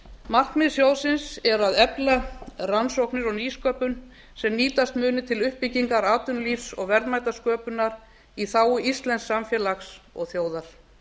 markmið sjóðsins er að efla rannsóknir og nýsköpun sem nýtast muni til uppbyggingar atvinnulífs og verðmætasköpunar í þágu íslensks samfélags og þjóðar